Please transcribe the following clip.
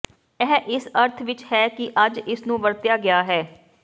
ਇਹ ਇਸ ਅਰਥ ਵਿਚ ਹੈ ਕਿ ਅੱਜ ਇਸ ਨੂੰ ਵਰਤਿਆ ਗਿਆ ਹੈ